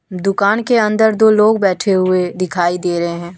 दुकान के अंदर दो लोग बैठे हुए दिखाई दे रहे हैं।